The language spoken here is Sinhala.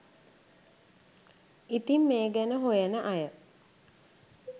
ඉතින් මේ ගැන හොයන අය